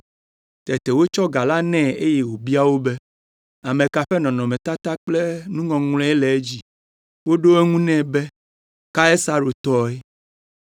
Tete wotsɔ ga la nɛ eye wòbia wo be, “Ame ka ƒe nɔnɔmetata kple nuŋɔŋlɔe le edzi?” Woɖo eŋu nɛ be, “Kaisaro tɔe.”